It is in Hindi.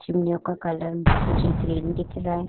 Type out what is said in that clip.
चिमनियों का कलर मुझे ग्रीन दिख रहा है।